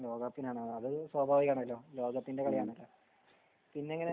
ലോക കപ്പിനാണ് അത് സ്വാഭാവികമാണല്ലോ ലോക കപ്പിൻറെ കളി ആണല്ലോ. പിന്നെ